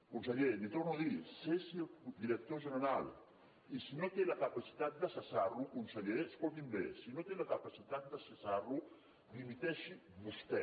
conseller li ho torno a dir cessi el director general i si no té la capacitat de cessar lo conseller escolti’m bé si no té la capacitat de cessar lo dimiteixi vostè